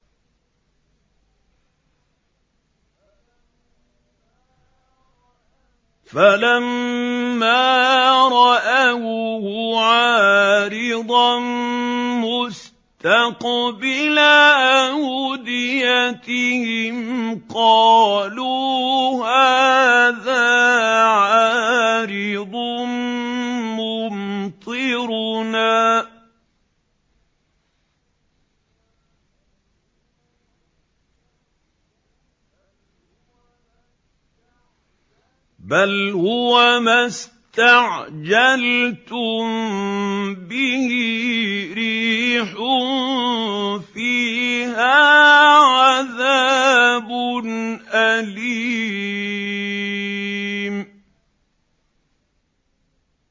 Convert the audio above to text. فَلَمَّا رَأَوْهُ عَارِضًا مُّسْتَقْبِلَ أَوْدِيَتِهِمْ قَالُوا هَٰذَا عَارِضٌ مُّمْطِرُنَا ۚ بَلْ هُوَ مَا اسْتَعْجَلْتُم بِهِ ۖ رِيحٌ فِيهَا عَذَابٌ أَلِيمٌ